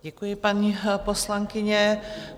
Děkuji paní poslankyni.